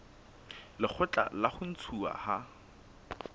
lekgotla la ho ntshuwa ha